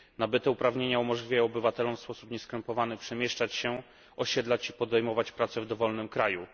Nabyte uprawnienia pozwalają obywatelom w sposób nieskrępowany przemieszczać się, osiedlać się i podejmować pracę w dowolnym kraju.